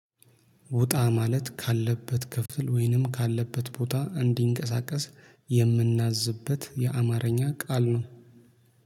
ውጣ ማለት ካለበት ክፍል ወይንም ካለበት ቦታ እንዲንቀሳቀስ የምናዝበት የአማርኛ ቃል ነው